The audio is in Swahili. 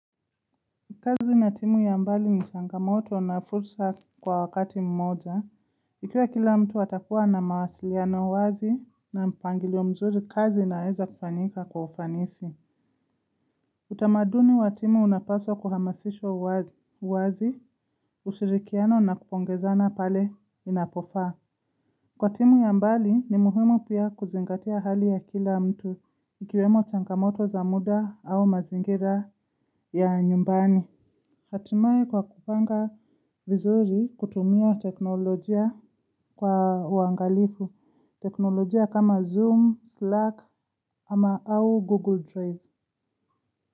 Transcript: Kazi na timu ya mbali ni changamoto na fursa kwa wakati mmoja, ikiwa kila mtu atakuwa na mawasiliano wazi na mpangilio mzuri kazi inaeza kufanika kwa ufanisi. Utamaduni wa timu unapaswa kuhamasishwa wazi, ushirikiano na kupongezana pale inapofa. Kwa timu ya mbali ni muhimu pia kuzingatia hali ya kila mtu ikiwemo changamoto za muda au mazingira ya nyumbani. Hatimai kwa kupanga vizuri kutumia teknolojia kwa wangalifu, teknolojia kama Zoom, Slack ama au Google Drive.